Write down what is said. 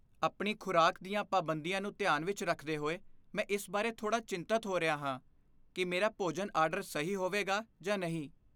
ਆਪਣੀ ਖੁਰਾਕ ਦੀਆਂ ਪਾਬੰਦੀਆਂ ਨੂੰ ਧਿਆਨ ਵਿੱਚ ਰੱਖਦੇ ਹੋਏ, ਮੈਂ ਇਸ ਬਾਰੇ ਥੋੜਾ ਚਿੰਤਿਤ ਹੋ ਰਿਹਾ ਹਾਂ ਕਿ ਮੇਰਾ ਭੋਜਨ ਆਰਡਰ ਸਹੀ ਹੋਵੇਗਾ ਜਾਂ ਨਹੀਂ।